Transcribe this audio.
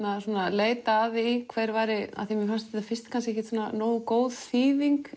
leita að því hver væri af því mér fannst þetta fyrst kannski ekki nógu góð þýðing